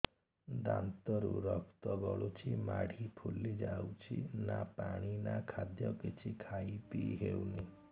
ଦାନ୍ତ ରୁ ରକ୍ତ ଗଳୁଛି ମାଢି ଫୁଲି ଯାଉଛି ନା ପାଣି ନା ଖାଦ୍ୟ କିଛି ଖାଇ ପିଇ ହେଉନି